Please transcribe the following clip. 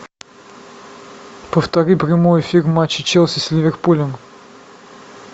повтори прямой эфир матча челси с ливерпулем